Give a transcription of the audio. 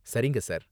சரிங்க, சார்.